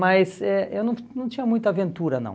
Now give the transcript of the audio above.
Mas eh eu não não tinha muita aventura, não.